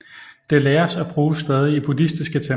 Det læres og bruges stadig i buddhistiske templer